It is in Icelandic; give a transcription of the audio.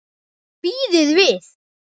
Bíðið við!